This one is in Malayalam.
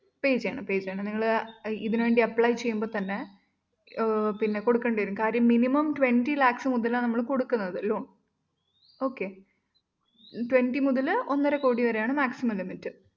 pay ചെയ്യണം pay ചെയ്യണം നിങ്ങൾ ഇതിനു വേണ്ടി apply ചെയ്യുമ്പോ തന്നെ പിന്നെ കൊടുക്കേണ്ടി വരും. കാര്യം minimum twenty lakhs മുതലാണ് നമ്മൾ കൊടുക്കുന്നത് loan Okay twenty മുതൽ ഒന്നരക്കോടി വരെയാണ് maximum limit.